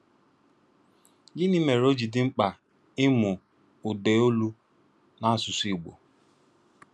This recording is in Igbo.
Gịnị́ mére ọ́ jì dị́ mkpà ìmụ́ ụ̀dàolù n’ásụ̀sụ́ Ìgbò?